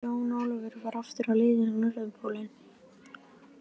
Jón Ólafur var aftur á leið á Norðurpólinn.